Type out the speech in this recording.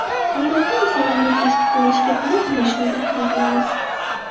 Odatda insonlarning tashqi ko‘rinishiga qarab yoshini taxmin qilamiz.